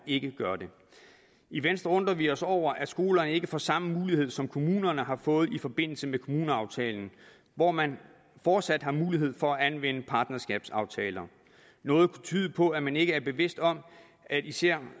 ikke gør det i venstre undrer vi os over at skolerne ikke får samme mulighed som kommunerne har fået i forbindelse med kommuneaftalen hvor man fortsat har mulighed for at anvende partnerskabsaftaler noget kunne tyde på at man ikke er bevidst om at især